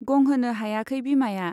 गंहोनो हायाखै बिमाया।